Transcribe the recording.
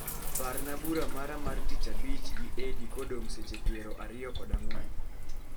Parna bura mara mar tich abich gi Edg kodong' seche piero ariyo kod ang'wen